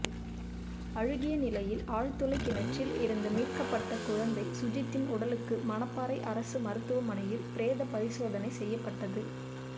அழுகிய நிலையில் ஆழ்துளை கிணற்றில் இருந்து மீட்கப்பட்ட குழந்தை சுஜித்தின் உடலுக்கு மணப்பாறை அரசு மருத்துவமனையில் பிரேத பரிசோதனை செய்யப்பட்டது